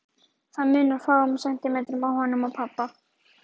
Það munar fáeinum sentimetrum á honum og pabba.